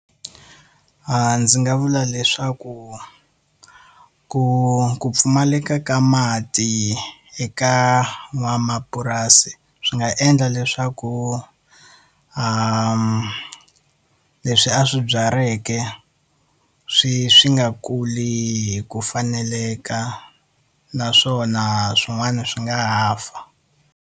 Ndzi nga vula leswaku ku ku pfumaleka ka mati eka n'wamapurasi swi nga endla leswaku, leswi a swi byaleke swi swi nga kuli hi ku faneleka naswona swin'wana swi nga ha fa.